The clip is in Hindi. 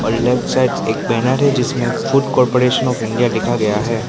लेफ्ट साइड एक बैनर है जिसमें फूड कॉरपोरेशन आफ इंडिया लिखा गया है।